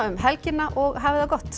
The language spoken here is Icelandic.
helgina og hafið það gott